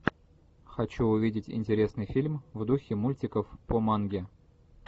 хочу увидеть интересный фильм в духе мультиков по манге